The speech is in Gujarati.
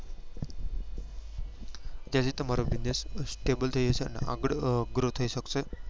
કે જે તમારો business stable થઇ જશે આપડે grow થઇ શકશે